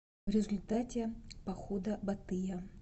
в результате похода батыя